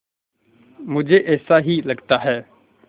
मुझे ऐसा ही लगता है